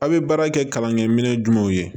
A' bɛ baara kɛ kalankɛminɛn jumɛn ye